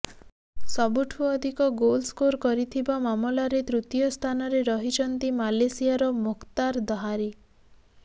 ସବୁଠୁ ଅଧିକ goal score କରିଥିବା ମାମଲାରେ ତୃତୀୟ ସ୍ଥାନରେ ରହିଛନ୍ତି ମାଲେସିଆର ମୋଖ୍ତାର ଦହାରୀ